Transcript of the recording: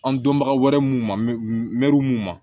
An dɔnbaga wɛrɛ mun ma mɛruw mun ma